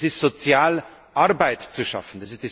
Es ist sozial, Arbeit zu schaffen.